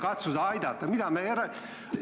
Kas me umbusaldame siin kahte inimest korraga või?